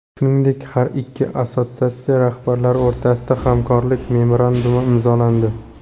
Shuningdek, har ikki assotsiatsiya rahbarlari o‘rtasida hamkorlik memorandumi imzolandi.